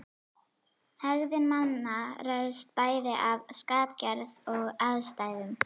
Hegðun manna ræðst bæði af skapgerð og aðstæðum.